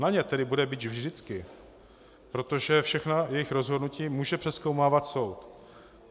Na ně tedy bude bič vždycky, protože všechna jejich rozhodnutí může přezkoumávat soud.